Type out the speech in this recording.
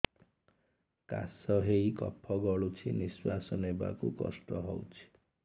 କାଶ ହେଇ କଫ ଗଳୁଛି ନିଶ୍ୱାସ ନେବାକୁ କଷ୍ଟ ହଉଛି